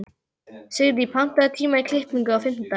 Signý, pantaðu tíma í klippingu á fimmtudaginn.